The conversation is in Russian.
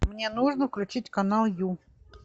мне нужно включить канал ю